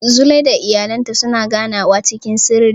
Zulaiha da iyalinta suna ganawa cikin sirri.